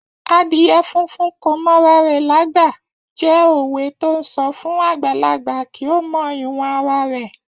Adìyẹ funfun kò mọ ara rẹ lágbà jẹ́ òwe to ń sọ fún àgbàlagbà kí ó mọ ìwọ̀n ara rẹ̀.